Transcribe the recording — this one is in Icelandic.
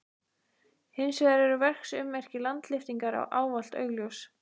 Hins vegar eru verksummerki landlyftingar ávallt augljós.